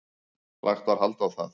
Lagt var hald á það.